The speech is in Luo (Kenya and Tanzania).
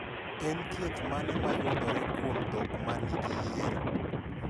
En thieth mane ma yudore kuom dhok ma nigi yier?